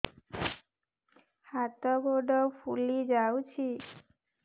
ହାତ ଗୋଡ଼ ଫୁଲି ଯାଉଛି